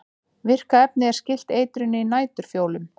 Virka efnið er skylt eitrinu í næturfjólum.